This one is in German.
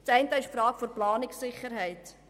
Der erste betrifft die Planungssicherheit.